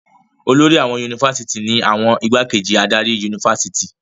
Olórí àwọn yunifásitì ni àwọn ìgbákejì adarí yunifásitì.